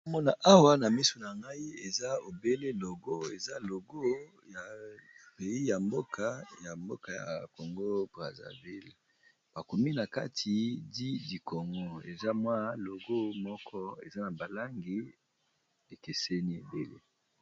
Nazomona awa na misu na ngai eza bobele logo eza logo ya pays ya mboka, ya congo braszaville bakomi na kati di dikongo eza mwa logo moko eza na balangi ekeseni ebele.